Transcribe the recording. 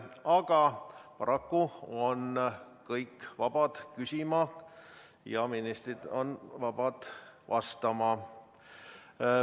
Aga paraku on kõik vabad küsima ja ministrid vabad vastama.